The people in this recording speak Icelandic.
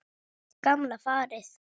Gamla farið.